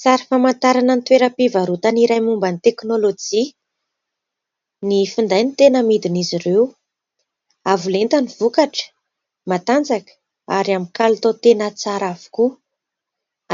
Sary famantarana ny toeram-pivarotana iray momba ny teknôlojia. Ny finday no tena amidin'izy ireo. Avo lenta ny vokatra, matanjaka ary amin'ny kalitao tena tsara avokoa.